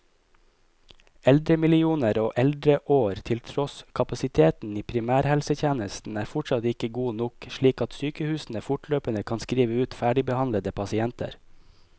Eldremillioner og eldreår til tross, kapasiteten i primærhelsetjenesten er fortsatt ikke god nok, slik at sykehusene fortløpende kan skrive ut ferdigbehandlede pasienter.